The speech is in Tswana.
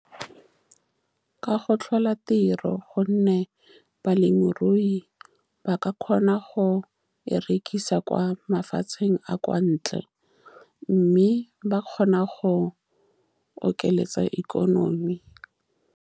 Ka go tlhola tiro, ka gonne balemirui ba ka kgona go e rekisa kwa mafatsheng a a kwa ntle, mme ba kgona go okeletsa ikonomi.